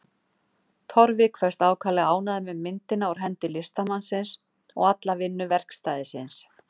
Torfi kveðst ákaflega ánægður með myndina úr hendi listamannsins og alla vinnu verkstæðisins.